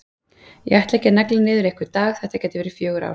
Ég ætla ekki að negla niður einhvern dag, þetta gætu verið fjögur ár.